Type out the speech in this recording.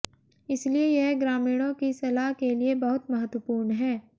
इसलिए यह ग्रामीणों की सलाह के लिए बहुत महत्वपूर्ण है